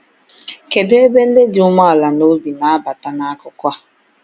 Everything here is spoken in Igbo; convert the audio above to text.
Kedu ebe ndị dị umeala n’obi na-abata n’akụkọ?